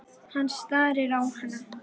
Hann starir á hana.